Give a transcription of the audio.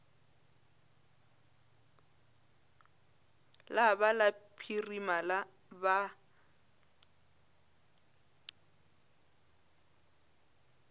la ba la phirima ba